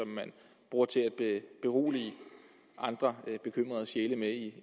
man bruger til at berolige andre bekymrede sjæle i